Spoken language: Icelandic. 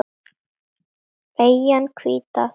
Eyjan hvíta, takk fyrir.